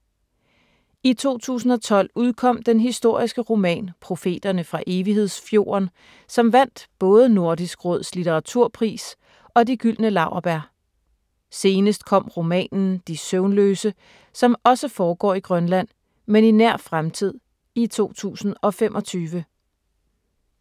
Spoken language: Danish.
I 2012 udkom den historiske roman Profeterne fra Evighedsfjorden, som vandt både Nordisk Råds litteraturpris og De Gyldne Laurbær. Senest kom romanen De søvnløse, som også foregår i Grønland, men i nær fremtid i 2025.